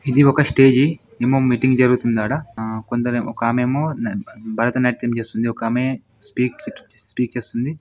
ఇది ఒక స్టేజి ఏమో మీటింగ్ జరుగుతుంది ఆడ ఆ కొందరు ఒక ఆమె ఏమో భరతనాట్యం చేస్తుంది. ఒక ఆమె స్పీక్ స్పీచ్ ఇస్తుంది.